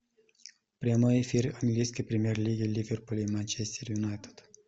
прямой эфир английской премьер лиги ливерпуль и манчестер юнайтед